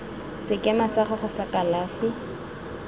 sekema sa gago sa kalafi